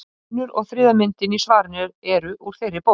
Önnur og þriðja myndin í svarinu eru úr þeirri bók.